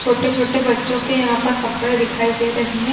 छोटे-छोटे बच्चो के यहाँ पे कपडे दिखाई दे रहे है।